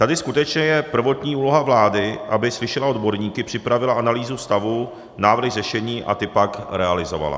Tady skutečně je prvotní úloha vlády, aby slyšela odborníky, připravila analýzu stavu, návrhy řešení a ty pak realizovala.